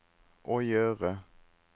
å gjøre